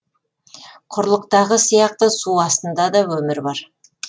құрлықтағы сияқты су астында да өмір бар